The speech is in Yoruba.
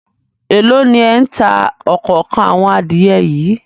Èló ni ẹ̀ ń ta òkòókan àwọn adìẹ yìí?